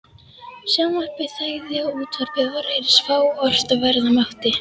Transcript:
Sjónvarpið þagði og útvarpið var eins fáort og verða mátti.